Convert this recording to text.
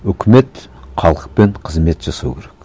өкімет халықпен қызмет жасау керек